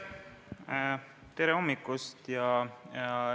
Tere hommikust!